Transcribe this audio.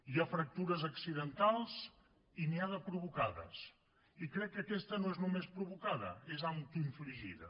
hi ha fractures accidentals i n’hi ha de provocades i crec que aquesta no és només provocada és autoinfligida